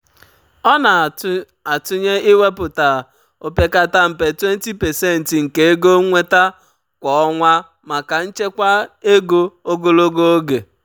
ọ na-atụnye iwepụta opekata mpe 20% nke ego nnweta kwa ọnwa maka nchekwa ego ogologo oge.